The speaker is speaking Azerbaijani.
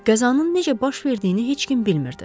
Qəzanın necə baş verdiyini heç kim bilmirdi.